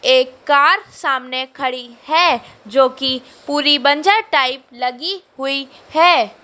एक कार सामने खड़ी है जो की पूरी बंजर टाइप लगी हुई है।